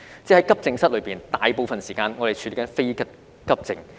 即在急症室內，我們大部分時間是在處理非急症。